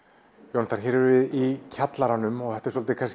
Jónatan hér erum við í kjallaranum þetta er svolítið